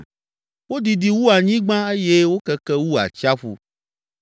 Wodidi wu anyigba eye wokeke wu atsiaƒu.